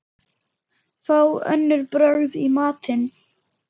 Fá önnur brögð í matinn.